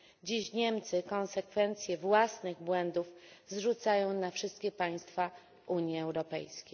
Dziś Niemcy konsekwencje własnych błędów zrzucają na wszystkie państwa Unii Europejskiej.